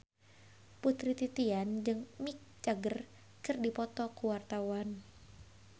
Putri Titian jeung Mick Jagger keur dipoto ku wartawan